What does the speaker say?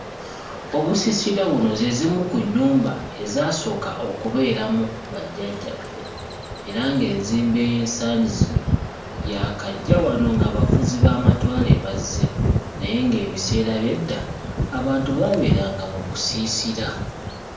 Obusiisira buno ze zimu ku nnyumba ezaasooka okubeeramu bajjajjaffe, era ng'enzimba ey'ensangi zino yaakajja wano ng'abafuzi b'amatwale bazze naye ng'ebiseera by'edda, abantu baaberanga mu busiisira.